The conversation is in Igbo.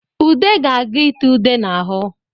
Ude ga-aga itee ude n'ahụ